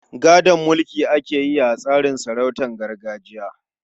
Gadon mulki ake yi a tsarin sarautun gargajiya.